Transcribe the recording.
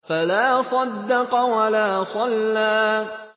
فَلَا صَدَّقَ وَلَا صَلَّىٰ